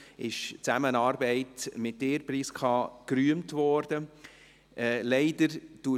Die Zusammenarbeit mit Ihnen, Prisca Lanfranchi, wurde gerühmt.